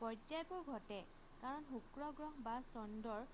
পৰ্যায়বোৰ ঘটে কাৰণ শুক্ৰ গ্ৰহ বা চন্দ্ৰৰ